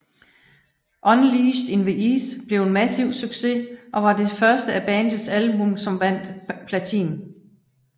Unleashed in the East blev en massiv succes og var det første af bandets album som vandt platin